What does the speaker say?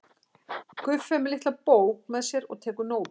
Guffi er með litla bók með sér og tekur nótur.